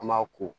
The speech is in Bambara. An m'a ko